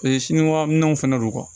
sinikɔnɔ minɛnw fana don